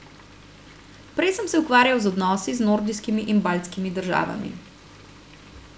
Prej sem se ukvarjal z odnosi z nordijskimi in baltskimi državami.